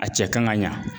A cɛ kan ka ɲa